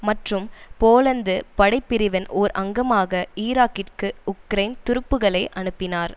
மற்றும் போலந்து படை பிரிவின் ஓர் அங்கமாக ஈராக்கிற்கு உக்ரைன் துருப்புக்களை அனுப்பினார்